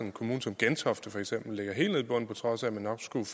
en kommune som gentofte for eksempel ligger helt nede i bunden på trods af at man nok kunne